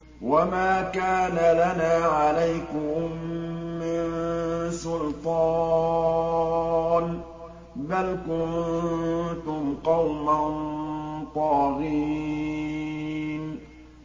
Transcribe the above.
وَمَا كَانَ لَنَا عَلَيْكُم مِّن سُلْطَانٍ ۖ بَلْ كُنتُمْ قَوْمًا طَاغِينَ